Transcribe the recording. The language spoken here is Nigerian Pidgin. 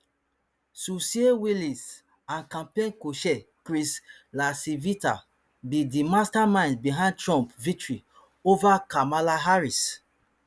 susie wiles and campaign cochair chris lacivita be di masterminds behind trump victory over kamala harris